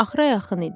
Axıra yaxın idi.